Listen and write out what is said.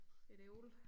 Et æble